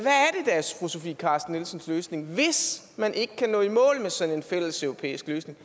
hvad er sofie carsten nielsens løsning hvis man ikke kan nå i mål med sådan en fælleseuropæisk løsning